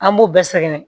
An b'u bɛɛ sɛgɛn